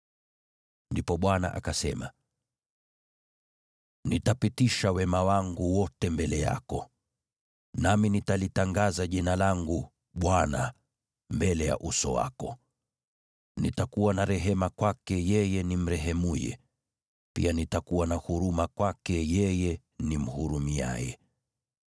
Ndipo Bwana akasema, “Nitapitisha wema wangu wote mbele yako, nami nitalitangaza Jina langu, Bwana , mbele ya uso wako. Nitamrehemu yeye nimrehemuye, na pia nitamhurumia yeye nimhurumiaye.”